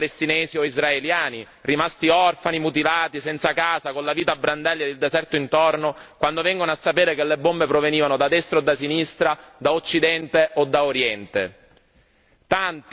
Cosa cambia per i civili palestinesi o israeliani rimasti orfani, mutilati, senza casa, con la vita a brandelli e il deserto intorno, quando vengono a sapere che le bombe provenivano da destra o da sinistra, da Occidente o da Oriente?